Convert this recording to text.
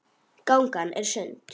Gangan er sund.